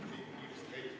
Istungi lõpp kell 11.42.